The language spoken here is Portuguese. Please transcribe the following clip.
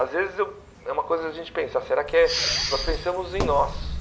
Às vezes eu é uma coisa da gente pensar, será que é nós pensamos em nós?